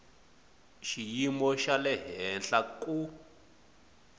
xiyimo xa le henhla ku